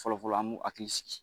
Fɔlɔ-fɔlɔ an b'u hakili sigi